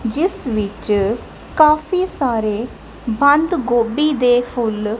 ਜਿੱਸ ਵਿੱਚ ਕਾਫੀ ਸਾਰੇ ਬੰਦ ਗੋਭੀ ਦੇ ਫੁੱਲ--